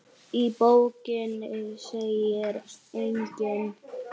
Í bókinni segir einnig